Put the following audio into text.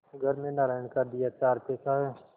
घर में नारायण का दिया चार पैसा है